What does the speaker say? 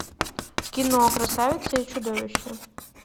кино красавица и чудовище